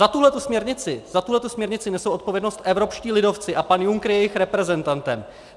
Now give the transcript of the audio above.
Za tuhle směrnici nesou odpovědnost evropští lidovci a pan Juncker je jejich reprezentantem.